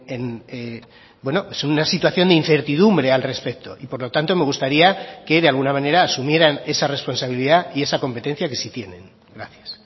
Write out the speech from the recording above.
en una situación de incertidumbre al respecto y por lo tanto me gustaría que de alguna manera asumieran esa responsabilidad y esa competencia que sí tienen gracias